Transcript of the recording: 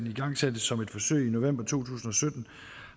igangsatte som et forsøg i november to tusind og sytten